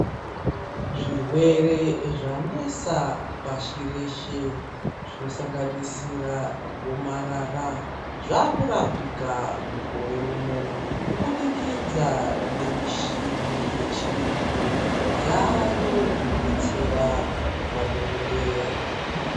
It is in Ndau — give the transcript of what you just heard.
Zvirwere zvanesa pashi reshe zvinosanganisira gomarara zvakurapika Mukore unowu kubudikidza nemishina yechirungu yayo inodetsera madhokodheya.